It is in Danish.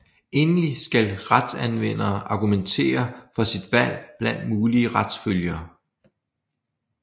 Endelig skal retsanvender argumentere for sit valg blandt mulige retsfølger